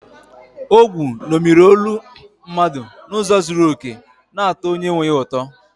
Ogwu ṅomiri olu mmadụ n’ụzọ zuru oke, na-atọ onye nwe ya ụtọ.